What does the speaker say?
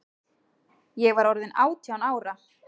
Ég var orðin átján ára.